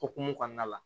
Okumu kɔnɔna la